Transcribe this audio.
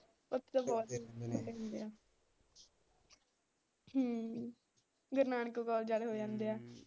ਉਥੇ ਤਾ ਬਹੁਤ ਹਮ ਗੁਰੂ ਨਾਨਕ ਕੋਲਜ ਵਾਲੇ ਹੋ ਜਾਂਦੇ ਆ।